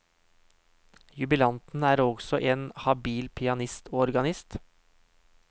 Jubilanten er også en habil pianist og organist.